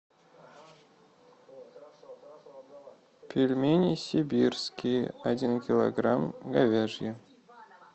пельмени сибирские один килограмм говяжьи